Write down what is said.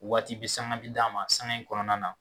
Waati bi sanga bi d'a ma sanga in kɔnɔna na.